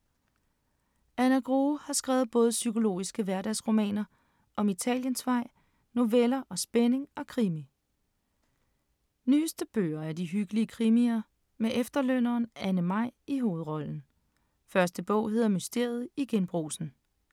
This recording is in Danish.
Anna Grue har skrevet både psykologiske hverdagsdramaer som Italiensvej, noveller og spænding og krimi. Nyeste bøger er de hyggelige krimier med efterlønneren Anne-Maj i hovedrollen. Første bog hedder Mysteriet i Genbrugsen.